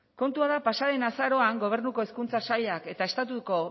kontua da pasa den azaroan gobernuko hezkuntza sailak eta estatuko